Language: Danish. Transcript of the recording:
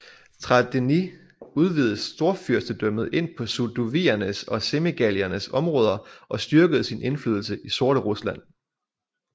Traidenis udvidede Storfyrstendømmet ind på sudoviernes og semigaliernes områder og styrkede sin indflydelse i Sorterusland